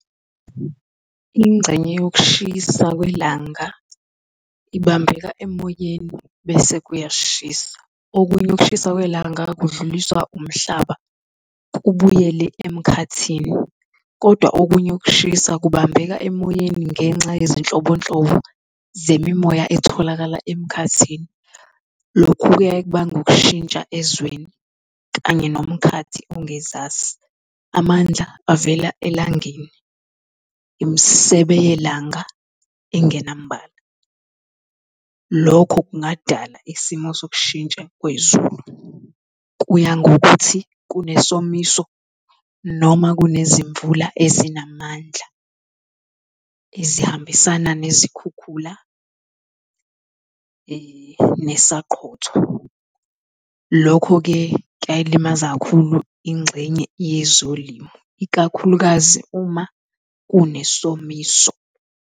Ingxenye yokushisa kwelanga ibambeka emoyeni bese kuyashisa. Okunye ukushisa kwelanga kudluliswa umhlaba kubuyele emkhathini, kodwa okunye ukushisa kubambeka emoyeni ngenxa yezinhlobonhlobo zemimoya etholakala emkhathini. Lokhu-ke kubanga ukushintsha ezweni kanye nomkhathi ongezasi. Amandla avela elangeni, imisebe yelanga ingenambala. Lokho kungadala isimo sokushintsha kwezulu. Kuya ngokuthi kunesomiso, noma kunezimvula ezinamandla ezihambisana nezikhukhula nesaqhotho. Lokho-ke kuyayilimaza kakhulu ingxenye yezolimo, ikakhulukazi uma kunesomiso.